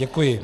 Děkuji.